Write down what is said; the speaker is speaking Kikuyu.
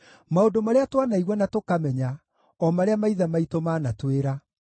maũndũ marĩa twanaigua na tũkamenya, o marĩa maithe maitũ maanatwĩra.